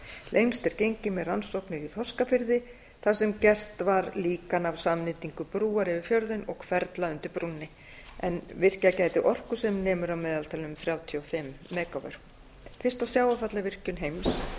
lengst er gengið með rannsóknir í þorskafirði þar sem gert var líkan af samnýtingu brúar yfir fjörðinn og hverfla undir brúnni sem virkjað gætu orku sem nemur að meðaltali um þrjátíu og fimm mega vöttum fyrsta sjávarfallavirkjun heims la